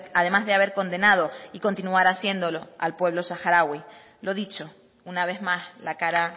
además de haber condenado y continuar haciéndolo al pueblo saharaui lo dicho una vez más la cara